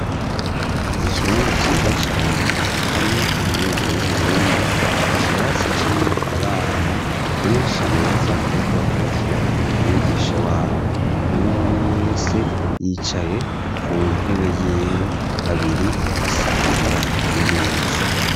Ikibanza ciza cane harimwo kaminuza y'Uburundi ikirasi kirimwo abana benshi beza ariko bakurikira umwigisha wabo, umwumwe wese yicaye ku ntebe yiwe babiri basangira imeza.